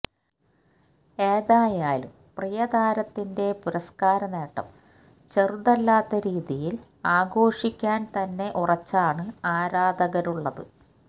ഏതായാലും പ്രിയ താരത്തിന്റെ പുരസ്കാര നേട്ടം ചെറുതല്ലാത്ത രീതിയില് ആഘോഷിക്കാന് തന്നെ ഉറച്ചാണ് ആരാധകരുള്ളത്